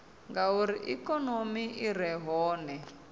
ngauri ikonomi i re hone